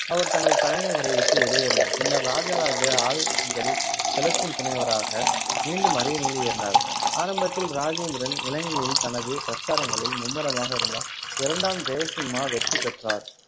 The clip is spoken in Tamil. அவர் தனது தலைநகரை விட்டு வெளியேறினார், பின்னர் ராஜராஜா ஆல் அஞ்சலி செலுத்தும் துணைவராக மீண்டும் அரியணையில் ஏறினார். ஆரம்பத்தில் ராஜேந்திரன் இலங்கையில் தனது பிரச்சாரங்களில் மும்முரமாக இருந்ததால் இரண்டாம் ஜெயசிம்மா வெற்றி பெற்றார்